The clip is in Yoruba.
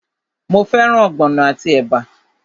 Mo fẹ́ràn ogbono àti ẹ̀bà?